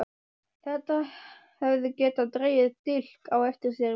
Þetta hefði getað dregið dilk á eftir sér fyrir